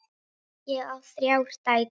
Ég á þrjár dætur.